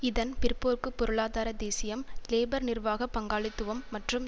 இதன் பிற்போக்கு பொருளாதார தேசியம் லேபர்நிர்வாக பங்காளித்துவம் மற்றும்